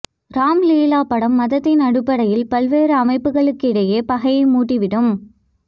ராம் லீலா படம் மதத்தின் அடிப்படையில் பல்வேறு அமைப்புகளுக்கிடையே பகையை மூட்டிவிடும்